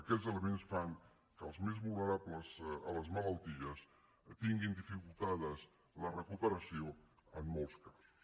aquests elements fan que els més vulnerables a les malalties tinguin dificultada la recuperació en molts casos